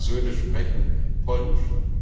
Zwei meiner Söhne sprechen Polnisch.